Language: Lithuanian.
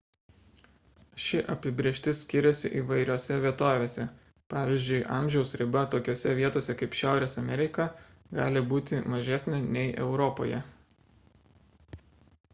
ši apibrėžtis skiriasi įvairiose vietovėse pvz. amžiaus riba tokiose vietose kaip šiaurės amerika gali būti mažesnė nei europoje